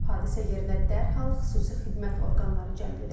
Hadisə yerinə dərhal xüsusi xidmət orqanları cəlb edilib.